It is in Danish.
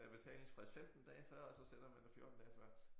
Der er betalingsfrist 15 dage før og så sender man det 14 dage før